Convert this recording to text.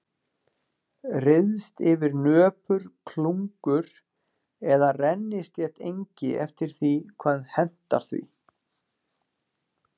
Ryðst yfir nöpur klungur eða rennislétt engi eftir því hvað hentar því.